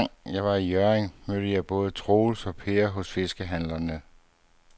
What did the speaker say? Anden gang jeg var i Hjørring, mødte jeg både Troels og Per hos fiskehandlerne.